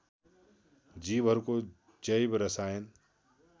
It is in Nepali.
जीवहरूको जैव रसायन